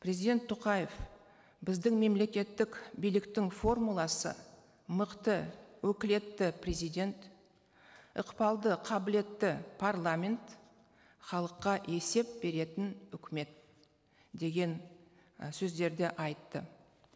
президент тоқаев біздің мемлекеттік биліктің формуласы мықты өкілетті президент ықпалды қабылетті парламент халыққа есеп беретін үкімет деген і сөздерді айтты